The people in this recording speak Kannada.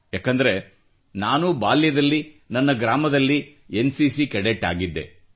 ಏಕೆಂದರೆ ನಾನೂ ಬಾಲ್ಯದಲ್ಲಿ ನನ್ನ ಗ್ರಾಮದ ಶಾಲೆಯಲ್ಲಿ ಎನ್ ಸಿ ಸಿ ಕೆಡೆಟ್ ಆಗಿದ್ದೆ